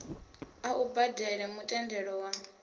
a u badele mutendelo wa